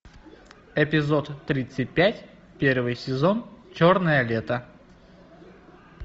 эпизод тридцать пять первый сезон черное лето